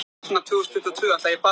Hulda í úrslit í stangarstökki